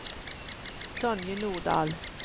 Tonje Nordahl